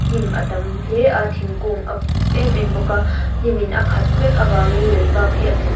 hnim a tam hle a thingkung a buk em em bawk a hnim in a khat vek a vangin lei bak hi a hmuh--